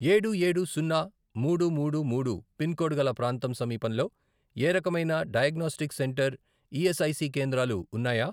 ఏడు, ఏడు, సున్నా, మూడు, మూడు, మూడు, పిన్ కోడ్ గల ప్రాంతం సమీపంలో ఏ రకమైన డయాగ్నోస్టిక్ సెంటర్ ఈఎస్ఐసి కేంద్రాలు ఉన్నాయా?